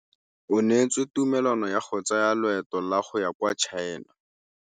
O neetswe tumalanô ya go tsaya loetô la go ya kwa China.